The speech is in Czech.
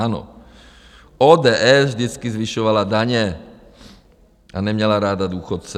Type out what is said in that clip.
Ano, ODS vždycky zvyšovala daně a neměla ráda důchodce.